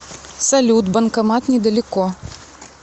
салют банкомат недалеко